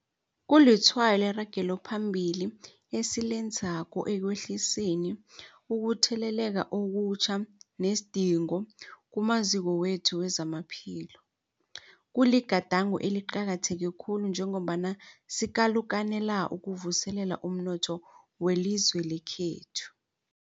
Kulitshwayo leragelo phambili esilenzako ekwehliseni ukutheleleka okutjha nesidingo kumaziko wethu wezamaphilo. Kuligadango eliqakatheke khulu njengombana sikalukanela ukuvuselela umnotho welizwe lekhethu.